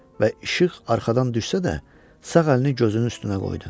Və işıq arxadan düşsə də, sağ əlini gözünün üstünə qoydu.